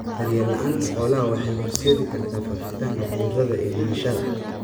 Daryeel la'aanta xoolaha waxay horseedi kartaa faafitaanka cudurrada iyo dhimashada.